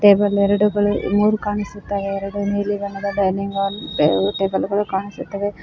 Table ಎರಡುಗಳು ಮೂರು ಕಾಣಿಸುತ್ತಾ ಎರಡು ನೀಲಿ ಬಣ್ಣದ ಡೈನಿಂಗ್ ಹಾಲ್ ಎರಡು ಟೇಬಲ್ ಗಳು ಕಾಣಿಸುತ್ತವೆ.